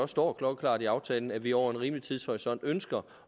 står klokkeklart i aftalen at vi over en rimelig tidshorisont ønsker